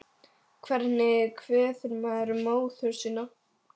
Hvernig kveður maður móður sína?